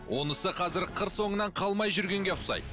онысы қазір қыр соңынан қалмай жүргенге ұқсайды